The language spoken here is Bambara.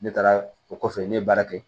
Ne taara o kɔfɛ ne ye baara kɛ